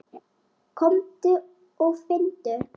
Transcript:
Komdu og finndu!